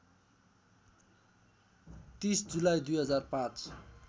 ३० जुलाई २००५